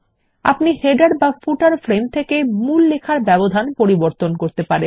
আপনি শিরোলেখ বা পাদলেখ ফ্রেম থেকে মূল লেখার ব্যবধান পরিবর্তন করতে পারেন